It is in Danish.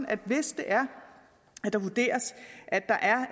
at hvis det vurderes at der er